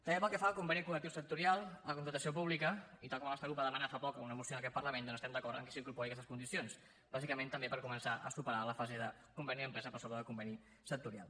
també pel que fa al conveni col·lectiu sectorial la contractació pública i tal com el nostre grup va demanar fa poc en una moció en aquest parlament doncs estem d’acord en que s’incorporin aquestes condicions bàsicament també per començar a superar la fase de conveni empresa per sobre del conveni sectorial